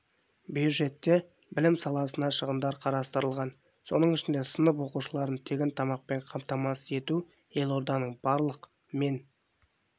бюджетте білім саласына шығындар қарастырылған соның ішінде сынып оқушыларын тегін тамақпен қамтамасыз ету елорданың барлық мен